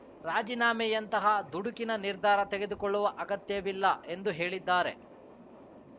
ರಾಜೀನಾಮೆಯಂತಹ ದುಡುಕಿನ ನಿರ್ಧಾರ ತೆಗೆದುಕೊಳ್ಳುವ ಅಗತ್ಯವಿಲ್ಲ ಎಂದು ಹೇಳಿದ್ದಾರೆ